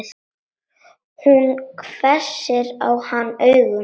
Hún hvessir á hann augun.